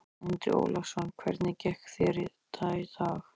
Andri Ólafsson: Hvernig gekk þetta í dag?